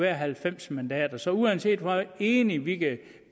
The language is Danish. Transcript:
er halvfems mandater så uanset hvor enige vi kan